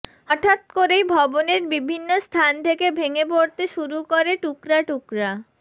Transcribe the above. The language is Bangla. হঠাৎ করেই ভবনের বিভিন্ন স্থান থেকে ভেঙে পড়তে শুরু করে টুকরা টুকরা